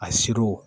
A siri